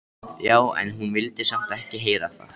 Já, en hún vildi samt ekki heyra það.